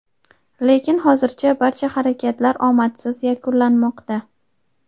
lekin hozircha barcha harakatlar omadsiz yakunlanmoqda.